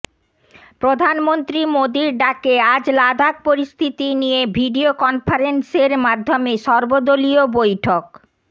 প্রধানমন্ত্রী মোদির ডাকে আজ লাদাখ পরিস্থিতি নিয়ে ভিডিও কনফারেন্সের মাধ্যমে সর্বদলীয় বৈঠক